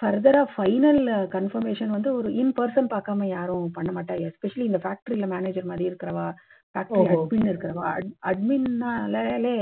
further ரா final confirmation வந்து ரௌ in person பார்க்காம யாரும் பண்ண மாட்டாங்க. especially இந்த factory ல manager மாத்திரி இருக்கறவா. admin ல இருக்கறவா admin னாலே